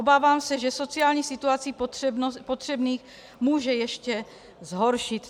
Obávám se, že sociální situaci potřebných může ještě zhoršit.